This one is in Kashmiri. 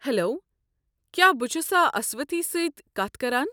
ہیلو، کیٛاہ بہٕ چھُسا اسوتھی سۭتۍ کتھ کران؟